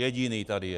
Jediný tady je.